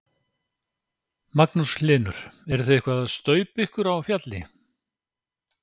Magnús Hlynur: Eruð þið eitthvað að staupa ykkur á fjalli?